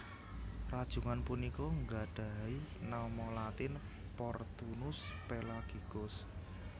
Rajungan punika nggadhahi nama latin Portunus pelagicus